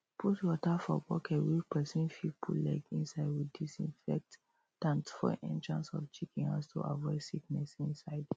put water for bucket wey person fit put leg inside with disinfectant for entrance of chicken house to aviod sickness inside